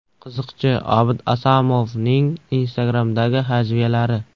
Qiziqchi Obid Asomovning Instagram’dagi hajviyalari .